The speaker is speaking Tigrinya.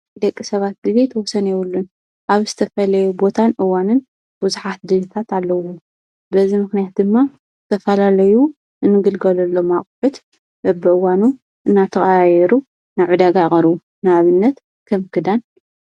ደቂ ሰባት ድሌት ወሰን የወሉን ኣብ ስተፈለዮ ቦታን እዋንን ውዙኃት ድሪታት ኣለዉ በዝ ምክንያት ድማ ተፋላለዩ እንግልገሉሎም ኣቕሑት ኣብእዋኑ እናተቓይሩ ናዕ ዳጋ ቐሩ ናኣብነት ከም ክዳን።